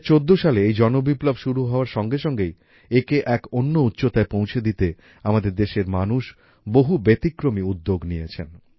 ২০১৪ সালে এই জনবিপ্লব শুরু হওয়ার সঙ্গে সঙ্গেই একে এক অন্য উচ্চতায় পৌঁছে দিতে আমাদের দেশের মানুষ বহু ব্যতিক্রমী উদ্যোগ নিয়েছেন